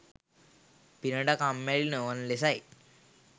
පිනට කම්මැලි නොවන ලෙසයි.